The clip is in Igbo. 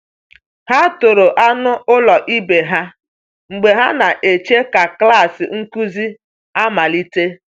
Ha toro anụ ụlọ ibe ha mgbe ha na-eche ka klas nkuzi amalite.